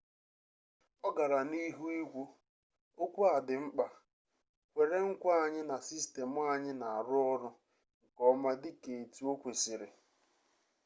ọ gara n'ihu ikwu okwu a dị mkpa kwere nkwa anyị na sistemụ anyị na-arụ ọrụ nke ọma dị ka etu o kwesịrị